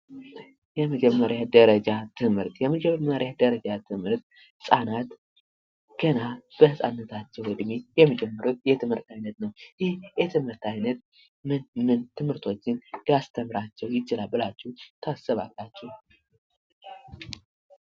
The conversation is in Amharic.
የመጀመሪያ ደረጃ ትምህርት የመጀመሪያ ደረጃ ትምህርት ህጻናት ገና በህጻንነት እድሜ የሚጀምሩት የትምህርት አይነት ነው። ይህ የትምህርት አይነት ምን ምን የትምህርቶችን ሊያስተምራቸው ይችላል ብላችሁ ታስባላችሁ?